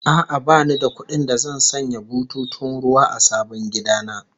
A'a, bani da kuɗin da zan sanya bututun ruwa a sabon gida na